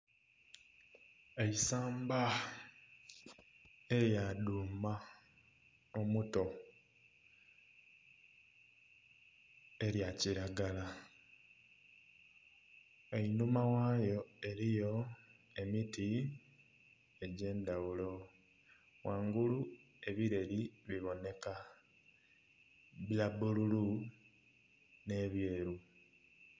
Eisamba erya duuma omuto erya kilagala, einhuma ghayo eriyo emiti egye ndhaghulo, ghangulu ebireri bibonheka bya bbululu nhe ebyeru.